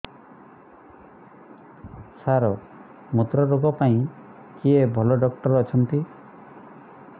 ସାର ମୁତ୍ରରୋଗ ପାଇଁ କିଏ ଭଲ ଡକ୍ଟର ଅଛନ୍ତି